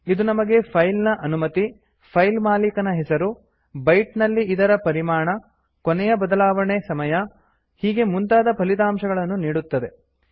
ಇದು ನಮಗೆ ಫೈಲ್ ನ ಅನುಮತಿ ಫೈಲ್ ಮಾಲೀಕನ ಹೆಸರು ಬೈಟ್ ನಲ್ಲಿ ಇದರ ಪರಿಮಾಣ ಕೊನೆಯ ಬದಲಾವಣೆ ಸಮಯ ಹೀಗೆ ಮುಂತಾದ ಫಲಿತಾಂಶಗಳನ್ನು ನೀಡುತದೆ